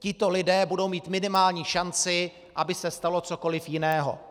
Tito lidé budou mít minimální šanci, aby se stalo cokoliv jiného.